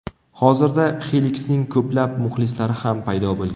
Hozirda Xeliksning ko‘plab muxlislari ham paydo bo‘lgan.